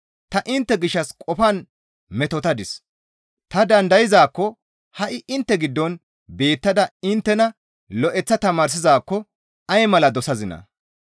Ta intte gishshas qofan metotadis; ta dandayzaakko ha7i intte giddon beettada inttena lo7eththa tamaarsizaakko ay mala dosazinaa!